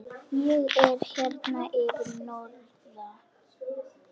Ég er hérna fyrir norðan.